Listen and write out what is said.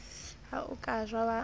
ha o ka wa ja